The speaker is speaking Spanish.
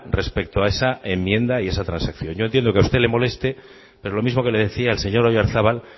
respecto a esa enmienda y esa transacción yo entiendo que a usted le moleste pero lo mismo que le decía al señor oyarzabal